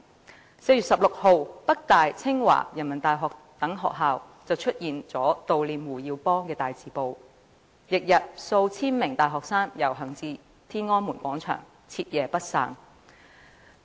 在4月16日，北京大學、清華大學及人民大學等大學出現悼念胡耀邦的大字報，翌日數千名大學生遊行至天安門廣場，徹夜不散。